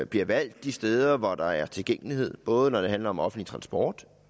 bliver valgt de steder hvor der er tilgængelighed både når det handler om offentlig transport